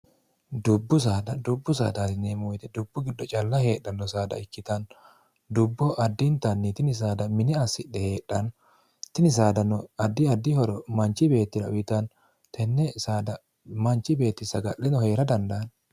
dubbuddubbu saadasinmoyite dubbu giddo calla heedhanno saada ikkitanno dubboho addintanni tini saada mine assidhe heedhanno tini saadano addi addi horo manchi beettira uyitanno tenne saada manchi beetti saga'leno hee'ra dandaanni